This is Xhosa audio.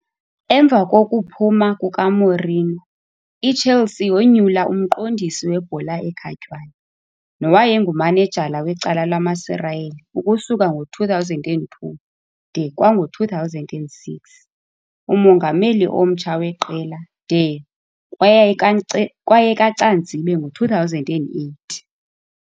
Emva kokuphuma kukaMourinho, iChelsea yoonyula uMqondisi weBhola ekhatywayo, nowayengumanejala wecala lamaSirayeli ukusuka ngo-2002 de kwango-2006, umongameli omtsha weqela, de kwayayikankce kwayekaCanzibe ngo-2008.